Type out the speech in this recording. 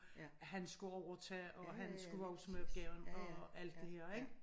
At han skulle overtage og han skulle vokse med opgaven og alt det her ik